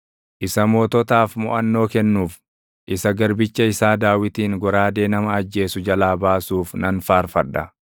isa moototaaf moʼannoo kennuuf, isa garbicha isaa Daawitin goraadee nama ajjeesu jalaa baasuuf nan faarfadha.